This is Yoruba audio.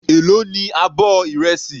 Èló ní abọ́ ìrẹsì.